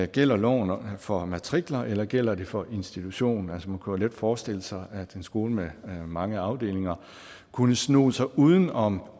gælder loven for matrikler eller gælder den for institutionen man kunne let forestille sig at en skole med mange afdelinger kunne sno sig uden om